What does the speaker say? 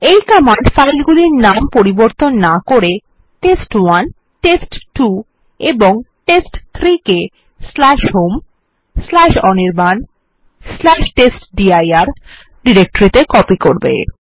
এই command file গুলির নাম পরিবর্তন না করে টেস্ট1 টেস্ট2 এবং টেস্ট3 কে home অনির্বাণ টেস্টডির ডিরেক্টরিত়ে কপি করবে